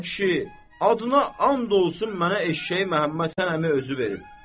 A kişi, adına and olsun mənə eşşəyi Məhəmməd Həsən əmi özü verib.